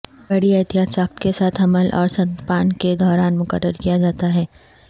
بڑی احتیاط ساخت کے ساتھ حمل اور ستنپان کے دوران مقرر کیا جاتا ہے